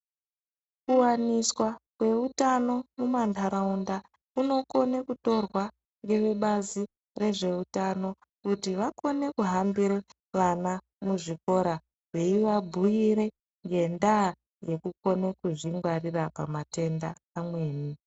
Kuwaniswa kweutano mumandaraunda kunokone kutorwa nevebazi rezveutano kuti vakone kuhambire vana muzvikora veyivabhuyire ngendaa yekukone kuzvingwarira pamatenda amweni.